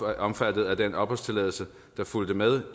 er omfattet af den opholdstilladelse der fulgte med